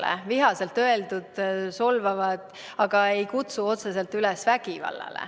Need olid vihaselt öeldud solvavad sõnad, aga need ei kutsu otseselt üles vägivallale.